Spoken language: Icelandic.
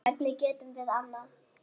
Hvernig getum við annað?